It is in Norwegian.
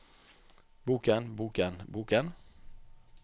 boken boken boken